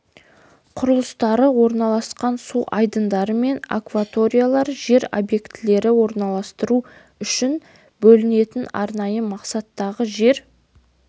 құрылыстары орналасқан су айдындары мен акваториялар жер объектілерді орналастыру үшін бөлінетін арнайы мақсаттағы жер